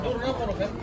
Şunkara dur nə bunu.